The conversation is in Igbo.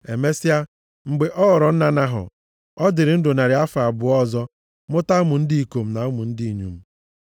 Emesịa, mgbe ọ ghọrọ nna Nahọ, ọ dịrị ndụ narị afọ abụọ ọzọ mụta ụmụ ndị ikom na ụmụ ndị inyom.